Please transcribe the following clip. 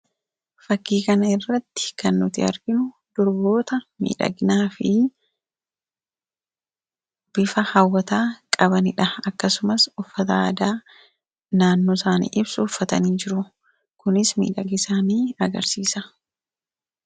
Fakkii kan irratti kan nuti arginu durboota miidhagnaa fi bifa hawwataa qabaniidha akkasumas uffata aadaa naannoo isaanii ibsu uffatanii jiru kunis miidhagina isaanii agarsiisa.